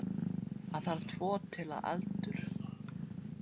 Það þarf tvo til að endur